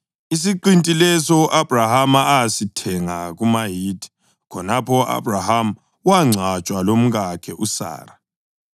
isiqinti leso u-Abhrahama asithenga kumaHithi. Khonapho u-Abhrahama wangcwatshwa lomkakhe uSara.